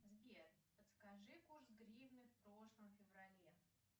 сбер подскажи курс гривны в прошлом феврале